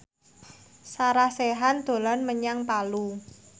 Sarah Sechan dolan menyang Palu